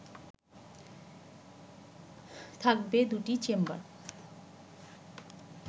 থাকবে দুটি চেম্বার